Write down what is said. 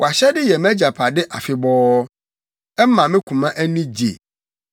Wʼahyɛde yɛ mʼagyapade afebɔɔ; ɛma me koma ani gye.